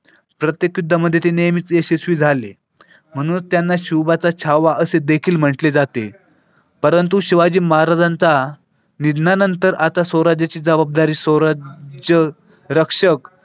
प्रत्येक युद्धामध्ये ती नेहमीच यशस्वी झाले म्हणून त्यांना शिवबाचा छावा असे देखील म्हटले जाते परंतु शिवाजी महाराजांचा निधनानंतर आता स्वराज्याची जबाबदारी स्वराज्य रक्षक.